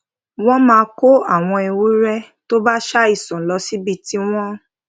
wón máa kó àwọn ewúré tó bá ṣàìsàn lọ síbi tí wón